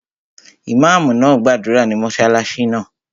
Ìmáàmù náà gbàdúrà ní mọ́sálásí náà